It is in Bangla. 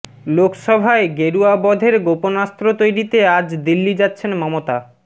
লোকসভায় গেরুয়া বধের গোপনাস্ত্র তৈরিতে আজ দিল্লি যাচ্ছেন মমতা